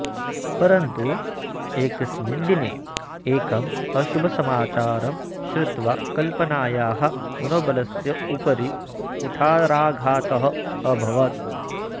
परन्तु एकस्मिन् दिने एकम् अशुभसमाचारं श्रुत्वा कल्पनायाः मनोबलस्य उपरि कुठाराघातः अभवत्